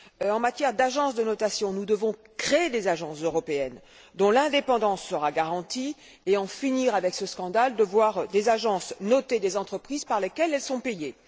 En matière d'agences de notation, nous devons créer des agences européennes dont l'indépendance sera garantie et en finir avec ce scandale de voir des agences noter des entreprises par lesquelles elles sont payées.